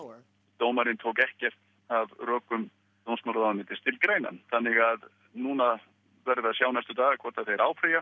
dómarinn tók ekkert af rökum dómsmálaráðuneytisins til greina þannig að núna verðum við að sjá næstu daga hvort að þeir áfrýja